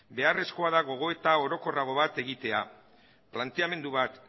beharrezkoa da gogoeta orokorrago bat egitea planteamendu bat